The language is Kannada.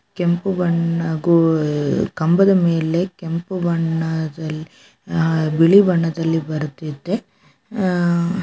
ಕೆಂಪು ಬಣ್ಣ ಹಾಗು ಕಂಭದ ಮೇಲೆ ಕೆಂಪು ಬಣ್ಣದಲ್ಲಿ ಹಾಗು ಆ--ಬಿಳಿ ಬಣ್ಣದಲ್ಲಿ ಬರೆದಿದ್ದೇ ಆ--